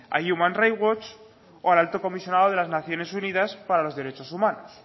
a human rights watch o al alto comisionado de las naciones unidas para los derechos humanos